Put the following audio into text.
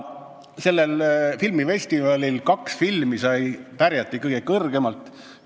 Sellel filmifestivalil kaks filmi pärjati kõige kõrgemalt.